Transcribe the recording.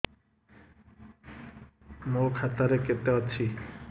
ମୋ ଖାତା ରେ କେତେ ଅଛି